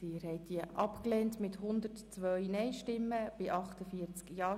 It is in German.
Sie haben diese Planungserklärung abgelehnt mit 100 Nein- gegen 49 Ja-Stimmen bei 1 Enthaltung.